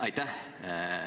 Aitäh!